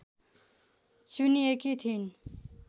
चुनिएकी थिइन्